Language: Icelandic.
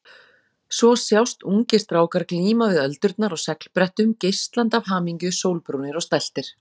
Svo sjást ungir strákar glíma við öldurnar á seglbrettum, geislandi af hamingju, sólbrúnir og stæltir.